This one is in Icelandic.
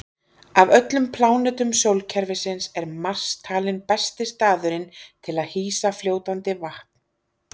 Af öllum plánetum sólkerfisins er Mars talinn besti staðurinn til að hýsa fljótandi vatn.